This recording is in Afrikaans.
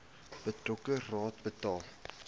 betrokke raad bepaal